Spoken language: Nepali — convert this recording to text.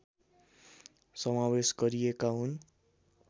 समावेश गरिएका हुन्